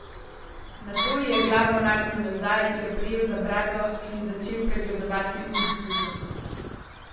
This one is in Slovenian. Nato ji je glavo nagnil nazaj, jo prijel za brado in ji začel pregledovati ustnice.